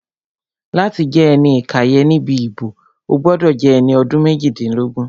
Láti jẹ́ ẹni ìkàyẹ̀ níbi ìbò, o gbọ́dọ̀ jẹ́ ẹni ọdún méjìdínlógún